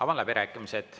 Avan läbirääkimised.